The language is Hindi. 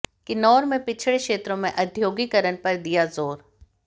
किन्नौर में पिछड़े क्षेत्रों में औद्योगिकरण पर दिया जोर